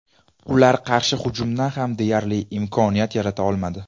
Ular qarshi hujumda ham deyarli imkoniyat yarata olmadi.